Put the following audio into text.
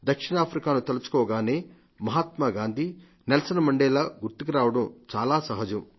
దక్షిణాఫ్రికాను తలుచుకోగానే Mahatma Gandhi Nelson Mandela గుర్తుకురావడం చాలా సహజం